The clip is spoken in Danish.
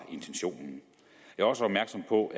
slut på